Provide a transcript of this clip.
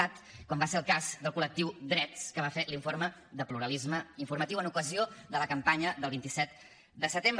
cat com va ser el cas del col·lectiu drets que va fer l’informe de pluralisme informatiu en ocasió de la campanya del vint set de setembre